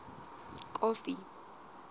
kofi